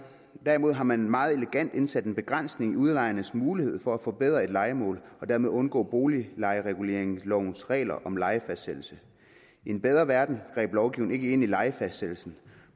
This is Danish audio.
derimod har man meget elegant indsat en begrænsning af udlejernes mulighed for at forbedre et lejemål og dermed undgå boliglejereguleringslovens regler om lejefastsættelse i en bedre verden greb lovgivningen ikke ind i lejefastsættelsen